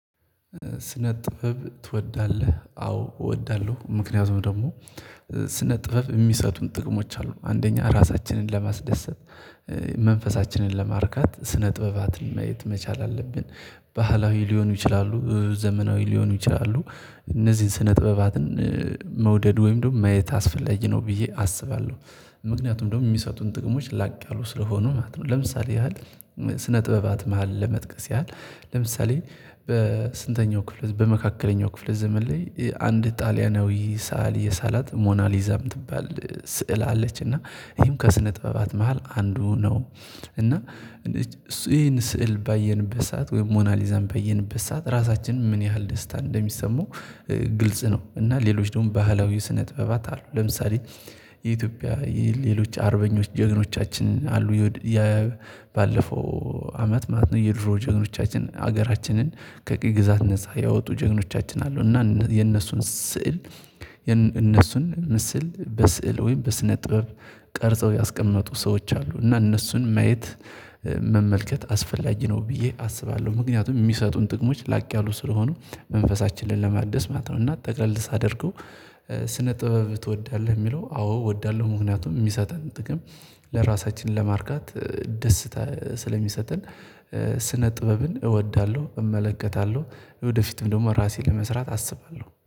ስነ ጥበብ ትወዳለህ? አዎ እወዳለሁ፤። ምክንያቱም ደግሞ ስነ ጥበብ የሚሰጡን ጥቅሞች አሉ። አንደኛ ራሳችንን ለማስደሰት መንፈሳችንን ለማርካት ስነ ጥበባትን ማየት መቻል አለብን። ባህላዊ ሊሆኑ ይችላሉ ዘመናዊ ሊሆኑ ይችላሉ። እነዚህን ስነ ጥበባትን መውደድ ወይም ደግሞ ማየት አስፈላጊ ነው ብዬ አስባለሁ፤። ምክንያቱም ደግሞ የሚሰጡን ጥቅሞች ላቅ ያሉ ስለሆኑ ማለት ነው። ለምሳሌ ያህል ስነ ጥበባት መሃል ለመጥቀስ ያህል ለምሳሌ በስንተኛው ክፍል በመካከለኛው ክፍለ ዘመን ላይ አንድ ጣሊያናዊ ሰአሊ የሳላት ሞናሊዛ የምትባል ስዕል አለች። እና ይሄም ከስነ ጠበባት መሃል አንዱ ነው። እና እሱ ይሄን ስዕል ባየንበት ሰዓት ወይም ሞናሊዛን ባየንበት ሰዓት ራሳችን ምን ያህል ደስታ እንደሚሰማው ግልጽ ነው። እና ሌሎች ደግሞ ባህላዊ ስነ ጥበባት አሉ። ለምሳሌ የኢትዮጵያ የሌሎች አርበኞች ጀግኖቻችን አሉ የባለፈው አመት ማለት ነው የድሮ ጀግኖቻችን ሀገራችንን ከ ቅኝ ግዛት ነፃ ያወጡ ጀግኖቻችን አሉ። እና የነሱን ስዕል እነሱን ስዕል በስዕል ወይም በስነ ጥበብ ቀርጸው ያስቀመጡ ሰዎች አሉ እና እነሱን ማየት መመልከት አስፈላጊ ነው ብዬ አስባለሁ። ምክንያቱም የሚሰጡን ጥቅሞች ላቅ ያሉ ስለሆኑ መንፈሳችንን ለማደስ ማለት ነው። ጠቅለል ሳድርገው ስነ ጥበብ ትወዳለህ የሚለው አዎ እወዳለሁ። ምክንያቱም የሚሰጠን ጥቅም ለራሳችን ለማርካት ደስታ ስለሚሰጥን ስነ ጥበብን እወዳለሁ። እመለከታለሁ ወደፊትም ደግሞ ራሴን ለመስራት አስባለሁ